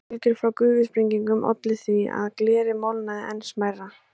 Höggbylgjur frá gufusprengingum ollu því að glerið molnaði enn smærra.